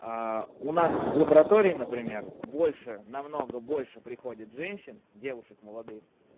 у нас в лаборатории например больше намного больше приходит женщин девушек молодых